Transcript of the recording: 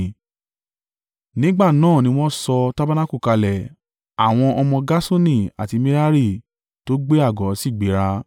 Nígbà náà ni wọ́n sọ tabanaku kalẹ̀ àwọn ọmọ Gerṣoni àti Merari tó gbé àgọ́ sì gbéra.